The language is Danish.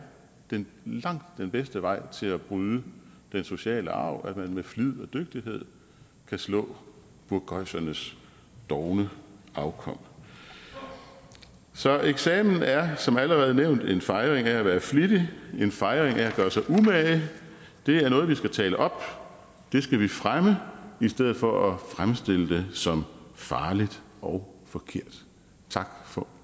langt den bedste vej til at bryde den sociale arv at man med flid og dygtighed kan slå burgøjsernes dovne afkom så eksamen er som allerede nævnt en fejring af at være flittig en fejring af at gøre sig umage det er noget vi skal tale op og det skal vi fremme i stedet for at fremstille det som farligt og forkert tak for